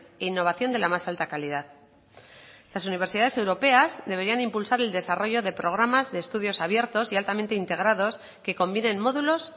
e innovación de la más alta calidad las universidades europeas deberían impulsar el desarrollo de programas de estudios abiertos y altamente integrados que combinen módulos